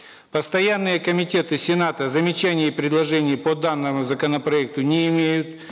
постоянные комитеты сената замечаний и предложений по данному законопроекту не имеют